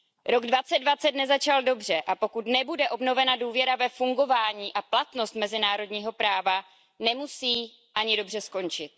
Rok 2020 nezačal dobře, a pokud nebude obnovena důvěra ve fungování a platnost mezinárodního práva, nemusí ani dobře skončit.